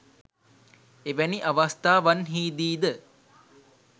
එවැනි අවස්ථාවන්හිදී ද